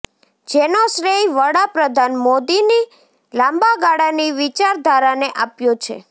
જેનો શ્રેય વડા પ્રધાન મોદીની લાંબાગાળાની વિચારાધારાને આપ્યો છે